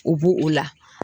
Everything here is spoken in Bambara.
U bo o la.